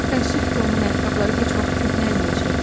Təəssüf ki, onun ayaqqabıları heç vaxt köhnəlməyəcəkdi.